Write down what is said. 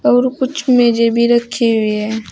और कुछ मेजें भी रखी हुई हैं।